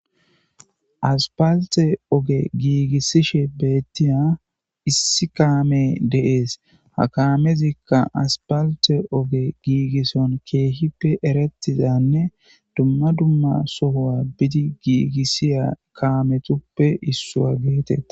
aspalite oge giigissishe beettiya issi kaame deees ha kamezikka aspalite oge giigisson keehippe erettizanne dumma dumma sohowa bidi giigissiya kaametuppe issuwa geetet